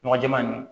Nɔgɔ jɛɛma nunnu